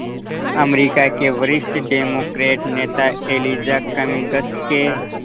अमरीका के वरिष्ठ डेमोक्रेट नेता एलिजा कमिंग्स के